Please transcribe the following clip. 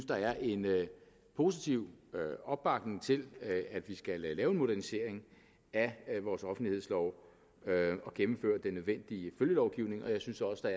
der er en positiv opbakning til at vi skal lave en modernisering af vores offentlighedslov og gennemføre den nødvendige følgelovgivning og jeg synes også